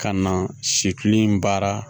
Ka na sekilin baara